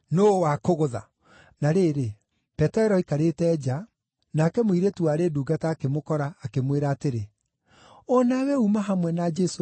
Na rĩrĩ, Petero aikarĩte nja, nake mũirĩtu warĩ ndungata akĩmũkora, akĩmwĩra atĩrĩ, “O nawe uuma hamwe na Jesũ ũcio wa Galili.”